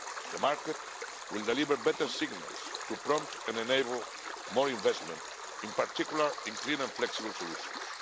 The market will deliver better signals to prompt and enable more investment, in particular in clean and flexible solutions.